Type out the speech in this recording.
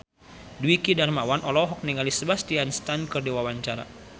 Dwiki Darmawan olohok ningali Sebastian Stan keur diwawancara